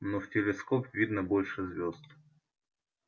но в телескоп видно больше звзд